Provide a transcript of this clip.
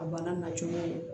A bana na cogoya ye